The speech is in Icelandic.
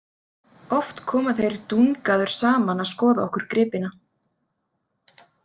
Oft koma þeir Dungaður saman að skoða okkur gripina.